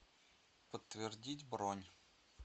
подтвердить бронь